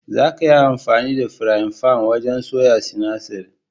Zaka iya amfani da firayin fan wajen soya sinasir.